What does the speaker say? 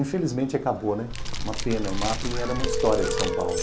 Infelizmente acabou, né, uma pena, o ma pe era uma história de São Paulo.